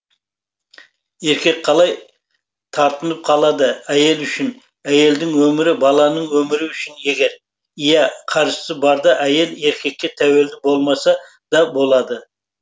еркек қалай тартынып қалады әйел үшін әйелдің өмірі баланың өмірі үшін егер иә қаржысы барда әйел еркекке тәуелді болмаса да болады